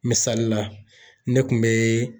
Misali la, ne kun be